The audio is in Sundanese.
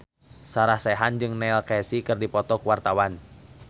Sarah Sechan jeung Neil Casey keur dipoto ku wartawan